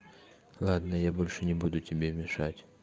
ладно я больше не буду тебе мешать